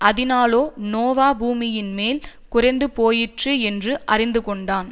அதினாலே நோவா பூமியின்மேல் குறைந்துபோயிற்று என்று அறிந்துகொண்டான்